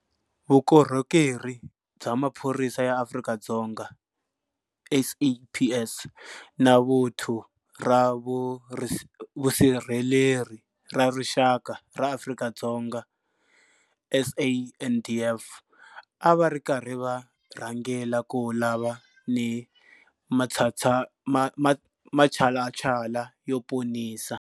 Vukorhokeri bya Maphorisa ya Afrika-Dzonga, SAPS, na Vuthu ra Vusirheleri ra Rixaka ra Afrika-Dzonga, SANDF, a va ri karhi va rhangela ku lava ni matshalatshala yo ponisa.